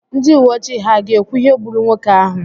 ndị uwe ojii ha ga-ekwu ihe gburu nwoke ahụ?